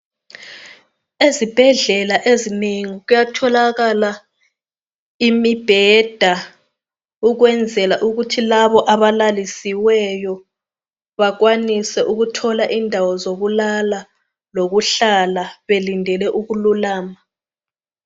Ezibhedlela ezinengi kuyatholakala imibheda ukwenzela ukuthi labo abalalisiweyo bakwanise ukuthola indawo zokulala lokuhlala belindele ukululama.